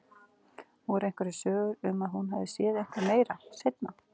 Voru einhverjar sögur um að hún hefði séð eitthvað meira, seinna?